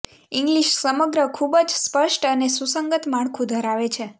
English સમગ્ર ખૂબ જ સ્પષ્ટ અને સુસંગત માળખું ધરાવે છે